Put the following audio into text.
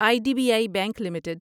I D B I bank limited